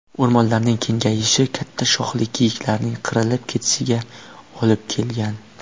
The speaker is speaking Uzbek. O‘rmonlarning kengayishi katta shoxli kiyiklarning qirilib ketishiga olib kelgan.